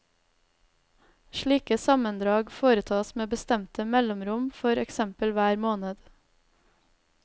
Slike sammendrag foretas med bestemte mellomrom, for eksempel hver måned.